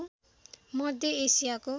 मध्य एसियाको